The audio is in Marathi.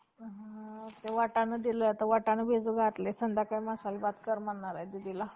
व त्या विषयी तुम्ही पक्की खात्री घ्यावी. म्हणजे येथे उदाहरणाकरिता फक्त ते आपल्या बच्यास जन्म दिल्यानंतर कसबस कशकशी वर्तवणूक करतात.